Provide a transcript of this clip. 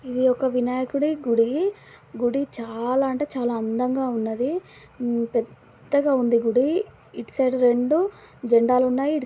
ఇది ఒక వినాయకుడి గుడి గుడి చాలా అంటే చాలా అందంగా ఉన్నది పెద్దగా ఉంది గుడి ఇటు సైడు రెండు జెండాలు ఉన్నాయి. ఇటు--